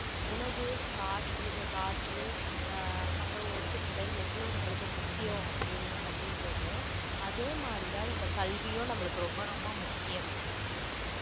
உணவு காற்று காற்று ஆஹ் அப்புறம் உடுத்தும் உடை எவ்வளோ நம்மளுக்கு முக்கியம் அப்படி~ அப்படின்றமோ அதே மாதிரிதான் இந்த கல்வியும் நம்மளுக்கு ரொம்ப ரொம்ப முக்கியம்